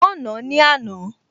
Wọ́n nàá ní àná